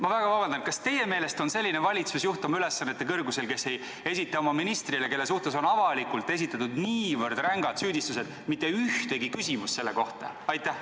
Ma väga vabandan, aga kas teie meelest on selline valitsusjuht oma ülesannete kõrgusel, kes ei esita oma ministrile, kelle suhtes on avalikult esitatud niivõrd rängad süüdistused, mitte ühtegi küsimust selle kohta?